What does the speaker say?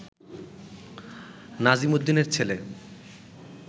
নাজিম উদ্দিনের ছেল